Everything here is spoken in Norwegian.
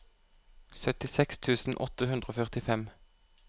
syttiseks tusen åtte hundre og førtifem